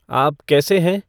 आप कैसे हैं